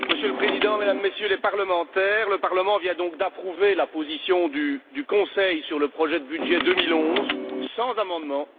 Monsieur le Président, Mesdames et Messieurs les parlementaires, le Parlement vient donc d'approuver la position du Conseil sur le projet de budget 2011 sans amendements.